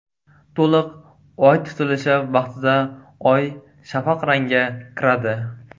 To‘liq oy tutilishi vaqtida oy shafaq rangga kiradi.